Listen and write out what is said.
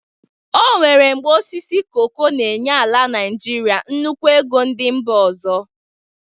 O nwere mgbe osisi koko n'enye ala Nịjịrịa nnukwu ego ndị mba ọzọ